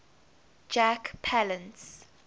jack palance